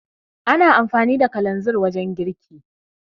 Ana amfani da kalanzin wajen girki